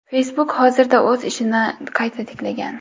Facebook hozirda o‘z ishini qayta tiklagan.